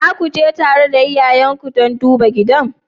Za ku je tare da iyayenku don duba gidan?